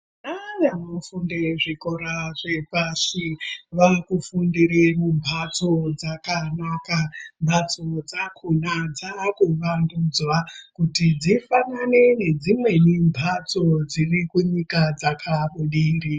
Ana emuzvikora zvepashi vakufundire mumhatso dzakanaka. Mhatso dzakona dzakuvandudzwa kuti dzifanane nedzimweni mhatso dziri kunyika dzakabudirira.